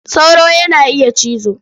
Sauro yana iya cizo.